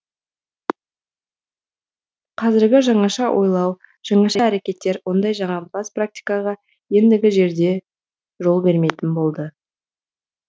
қазіргі жаңаша ойлау жаңаша әрекеттер ондай жағымпаз практикаға ендігі жерде жол бермейтін болды